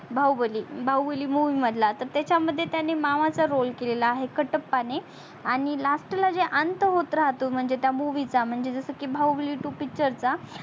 Baahubali Baahubali movie मधला तर त्याच्या मध्ये त्याने मामाचा roll केलेल्या आहे कटप्पाणे आणि last ला जे अंत होत राहतो म्हणजे त्या movie म्हणजे जस की बाहुबली two picture चा